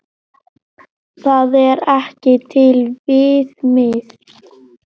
Það er ekki til viðmið.